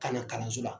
Ka na kalanso la